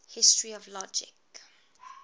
history of logic